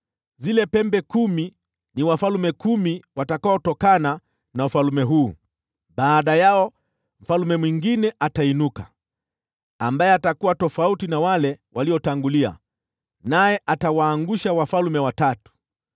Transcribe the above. Zile pembe kumi ni wafalme kumi watakaotokana na ufalme huu. Baada yao mfalme mwingine atainuka, ambaye atakuwa tofauti na wale waliotangulia, naye atawaangusha wafalme watatu.